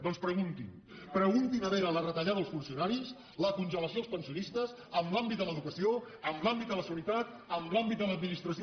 doncs preguntin preguntin a veure la retallada als funcionaris la congelació als pensionistes en l’àmbit de l’educació en l’àmbit de la sanitat en l’àmbit de l’administració